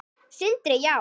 Sindri: Já?